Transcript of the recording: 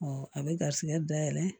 a bɛ garisigɛ dayɛlɛ